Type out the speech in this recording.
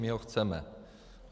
My ho chceme.